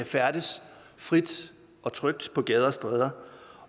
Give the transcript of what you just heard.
færdes frit og trygt på gader og stræder